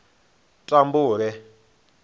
mutambule